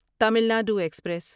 تعمیل ندو ایکسپریس